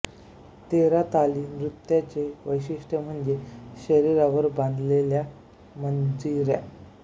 तेरा ताली नृत्याचे वैशिष्ट्य म्हणजे शरीरावर बांधलेल्या मंजिऱ्या